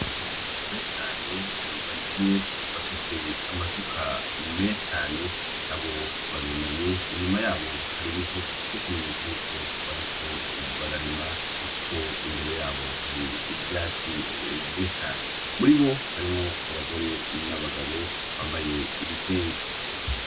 Abantu benshi cane bari kumwe bafise amasuka menshi cane , abo barunamye, inyuma yabo hari ibivu nk’ikimenyetso yuko bariko bararima Kuko imbere yabo hari ivyatsi vyinshi cane . Muri bo harimwo abagore n’abagabo bambaye ibitenge.